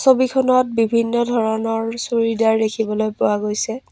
ছবিখনত বিভিন্ন ধৰণৰ চুইদাৰ দেখিবলৈ পোৱা গৈছে।